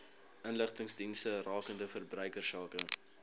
inligtingsdienste rakende verbruikersake